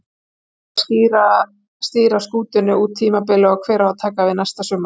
Hver á að stýra skútunni út tímabilið og hver á að taka við næsta sumar?